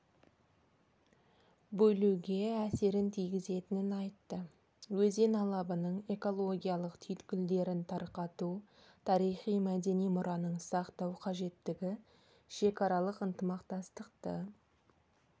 бөлуге әсерін тигізетінін айтты өзен алабының экологиялық түйткілдерін тарқату тарихи-мәдени мұраның сақтау қажеттігі шекарааралық ынтымақтастықты